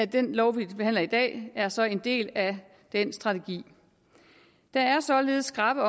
den lov vi behandler i dag er så en del af den strategi der er således skrappe